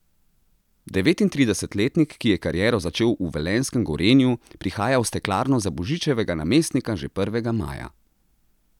Devetintridesetletnik, ki je kariero začel v velenjskem Gorenju, prihaja v Steklarno za Božičevega namestnika že prvega maja.